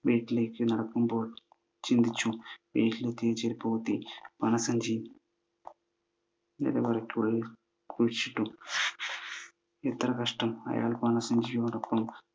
വീട്ടിലേക്കു നടക്കുമ്പോൾ ചിന്തിച്ചു. വീട്ടിലെത്തിയ ചെരുപ്പുകുത്തി പണസഞ്ചി നിലവറക്കുള്ളിൽ കുഴിച്ചിട്ടു. എത്ര കഷ്ടം, അയാൾ പണസഞ്ചിയോടൊപ്പം